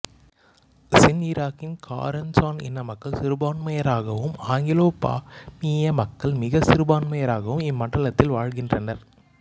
சின் இராக்கின் Karen Shan இனமக்கள் சிறுபான்மையினராகவும் ஆங்கிலோ பர்மிய மக்கள் மிகச் சிறுபான்மையினராகவும் இம்மண்டலத்தில் வாழ்கின்றனர்